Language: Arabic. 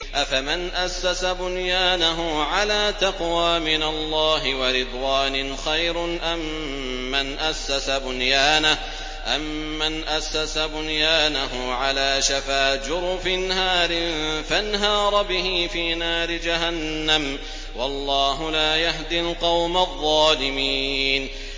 أَفَمَنْ أَسَّسَ بُنْيَانَهُ عَلَىٰ تَقْوَىٰ مِنَ اللَّهِ وَرِضْوَانٍ خَيْرٌ أَم مَّنْ أَسَّسَ بُنْيَانَهُ عَلَىٰ شَفَا جُرُفٍ هَارٍ فَانْهَارَ بِهِ فِي نَارِ جَهَنَّمَ ۗ وَاللَّهُ لَا يَهْدِي الْقَوْمَ الظَّالِمِينَ